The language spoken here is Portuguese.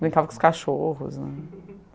Brincava com os cachorros, né?